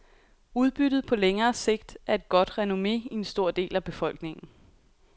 Udbyttet på længere sigt er et godt renomme i en stor del af befolkningen.